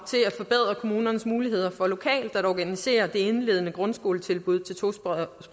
at forbedre kommunernes muligheder for lokalt at organisere det indledende grundskoletilbud til tosprogede